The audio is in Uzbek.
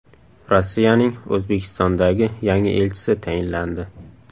Rossiyaning O‘zbekistondagi yangi elchisi tayinlandi.